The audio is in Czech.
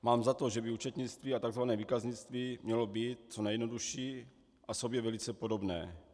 Mám za to, že by účetnictví a tzv. výkaznictví mělo být co nejjednodušší a sobě velice podobné.